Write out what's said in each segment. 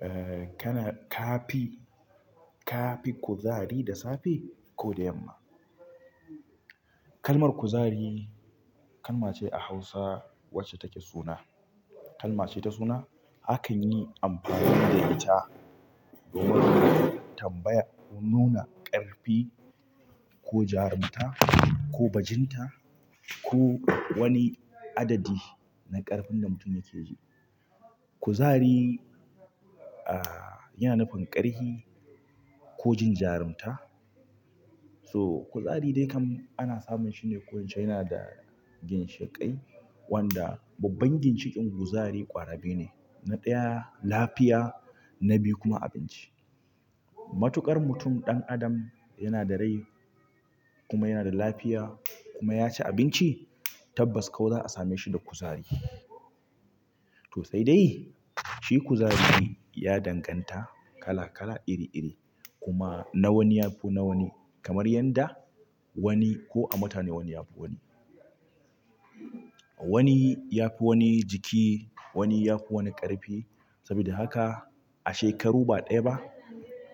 Eh kana ka fi, ka fi kuzari da safe ko da yamma? Kalmar kuzari kalma ce a Hausa wacce take suna. Kalma ce ta suna. Hakan yi amfani da ita domin tambaya ko nuna ƙarfi, ko jarunta, ko bajinta, ko wani adadi na ƙarfin da mutum yake ji. Kuzari, ah yana nufin ƙarfi ko jin jarunta. So kuzari dai kam ana samun shine ko nace yana da ginshiƙai, wanda babban ginshiƙin kuzari ƙwara ɗaya ne. Na ɗaya lafiya, na biyu kuma abinci. Matuƙar mutum ɗan adam yana da rai kuma yana da lafiya kuma ya ci abinci, tabbas kuwa za'a same shi da kuzari. To sai dai shi kuzari ya danganta kala kala iri iri. Kuma na wani ya fi na wani. Kamar yadda wani ko a mutane wani ya fi wani. Wani ya fi wani jiki, wani ya fi wani ƙarfi. Saboda haka a shekaru ba ɗaya ba,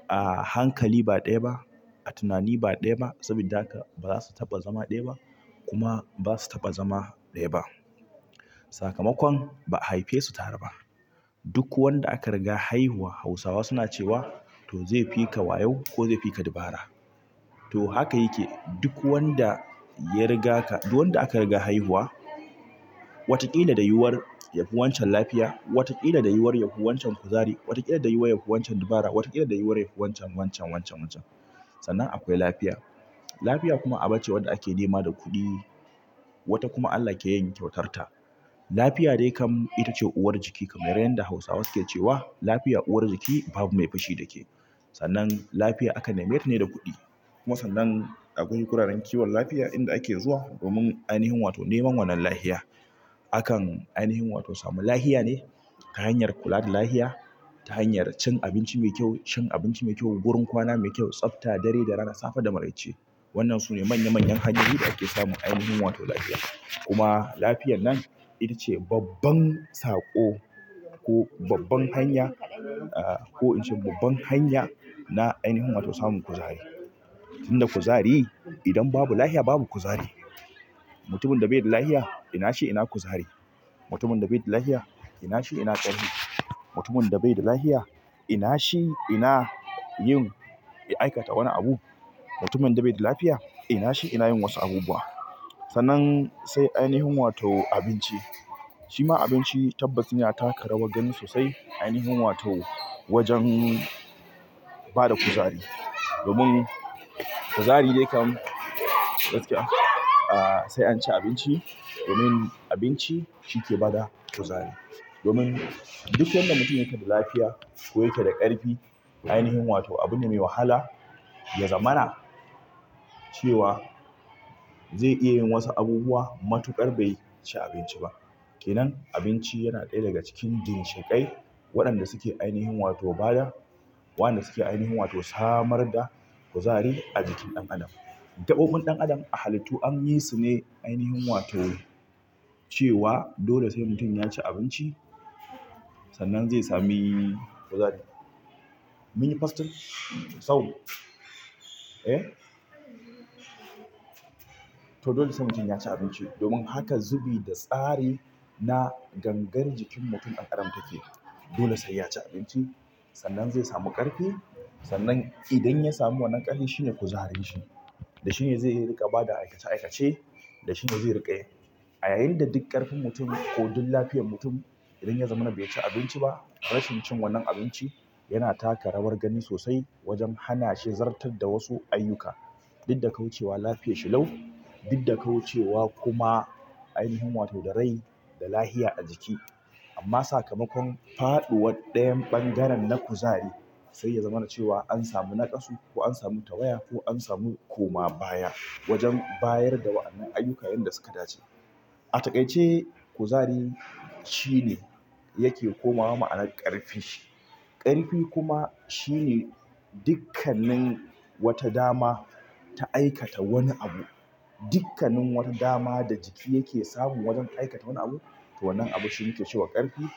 a hankali ba ɗaya ba, a tunani ba ɗaya ba. Saboda haka ba za su taɓa zama ɗaya ba kuma ba su taɓa zama ɗaya ba. Sakamakon ba haife su tare ba. Duk wanda aka riga haihuwa Hausawa suna cewa to zai fi ka wayo ko zai fi ka dabara. To haka yake. Duk wanda ya riga ka, duk wanda aka riga haihuwa, wataƙila da yiwuwar yafi wancan lafiya. Wataƙila da yiwuwar yafi wancan kuzari. Wataƙila da yiwuwar yafi wancan dabara. Wataƙila da yiwuwar yafi wancan wancan wancan wancan. Sannan akwai lafiya. Lafiya kuma aba ce wanda ake nema da kuɗi. Wata kuma Allah ke yin kyautar ta. Lafiya dai kam ita ce uwar jiki. Kamar yadda Hausawa suke cewa lafiya uwar jiki babu mai fushi da ke. Sannan lafiya akan nema ta ne da kuɗi. Kuma sannan a gurin kiwon lafiya ake zuwa domin neman wannan lafiya akan ainihin wato samu lafiya ne ta hanyar kula da lafiya, ta hanyar cin abinci mai kyau. Shin abinci mai kyau, gurin kwana mai kyau tsafta dare da rana safe da marece wannan su ne manya manyan hanyoyin da ake samun ainihin wato lafiya. Kuma lafiyar nan ita ce babban saƙo ko babban hanya. Ah ko in ce babban hanya na ainihin wato samun kuzari. Inda kuzari idan babu lafiya babu kuzari. Mutumin da bai da lafiya ina shi ina kuzari? Mutumin da bai da lafiya ina shi ina ƙarfi? Mutumin da bai da lafiya ina shi ina yin, ya aikata wani abu? Mutumin da bai da lafiya ina shi ina yin wasu abubuwa? Sannan sai ainihin wato abinci. Shi ma abinci tabbas yana taka rawar gani sosai ainihin wato wajen ba da kuzari. Domin kuzari dai kam, gaskiya sai an ci abinci. Domin abinci shi ke bada kuzari. Domin duk wanda mutum yake da lafiya ko yake da ƙarfi. Ainihin wato abun da mai wahala, ya zamana cewa zai iya yin wasu abubuwa matuƙar bai ci abinci ba. Kenan abinci yana ɗaya daga cikin ginshiƙai waɗanda suke ainihin wato bada. Waɗanda suke ainihin samar da kuzari ajikin dan adam, gabobin dan adam a halittu an yi su ne dole sai mutum ya ci abinci zai samu kuzari. Mun yi fasting? Sau. Eh? To dole sai mutum ya ci abinci. Domin haka zubi da tsari na gangar jikin mutum dan adam take. Dole sai ya ci abinci sannan zai samu ƙarfi. Sannan idan ya samu wannan ƙarfi shine kuzarin shi. Da shi ne zai riƙa bada aikace aikace. Da shi ne zai riƙe. A yayin da duk ƙarfin mutum ko duk lafiyar mutum idan ya zamana bai ci abinci ba yana taka rawar gani sosai wajen hana shi zartar da wasu ayyuka. Duk da kuwa cewa lafiyashi lau. Duk da kuwa cewa kuma ainihin wato da rai da lafiya a jiki. Amma sakamakon faɗuwar ɗayan bangaren na kuzari sai ya zamana cewa an samu naƙasu ko an samu tawaya ko an samu koma baya wajen bayar da wa'annan ayyuka yanda suka dace. A takaice kuzari shine yake komawa ma'anar ƙarfi ƙarfi kuma shi ne dukkanin wata dama ta aikata wani abu. Dukkanin wata dama da jiki yake samun wajen aikata wani abu. To wannan abu shi yake cewa ƙarfi. Wannan.